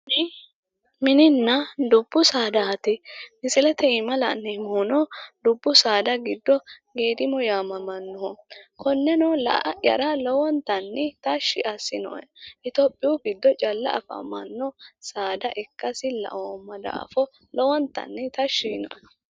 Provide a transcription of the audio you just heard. tini mininna dubbu saadaati misilete aana la'neemmohuno dubbu saada giddo geedimo yaamamannoho konneno la'ayara lowonta tashshi assinoe itiyopiyu giddo calla afamanno saada ikkasi ikkasi laoomma daafo lowontanni tashshi yiinoe